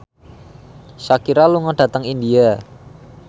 Shakira lunga dhateng India